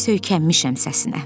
Söykənmişəm səsinə.